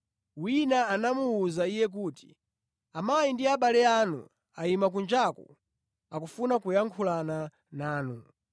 Wina anamuwuza Iye kuti, “Amayi ndi abale anu ayima kunjaku akufuna kuyankhulana nanu.”